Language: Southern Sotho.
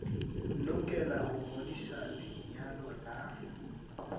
lokela ho ngodisa lenyalo la